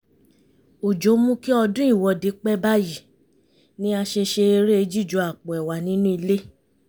òjò mú kí ọdún ìwọ́de pẹ́ báyìí ni a ṣe ṣe eré jíju àpò ẹ̀wà nínú ilé